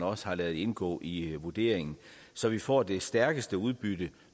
også har ladet indgå i vurderingen så vi får det stærkeste udbytte